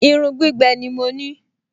Irun gbígbẹ ni mo ní